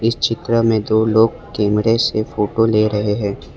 चित्र में दो लोग कैमरे से फोटो ले रहे है।